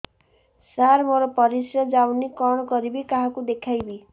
ସାର ମୋର ପରିସ୍ରା ଯାଉନି କଣ କରିବି କାହାକୁ ଦେଖେଇବି